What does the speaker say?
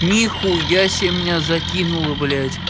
нихуя себе меня закинула блять